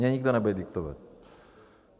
Mně nikdo nebude diktovat.